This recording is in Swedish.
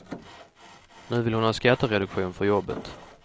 Nu vill hon ha skattereduktion för jobbet.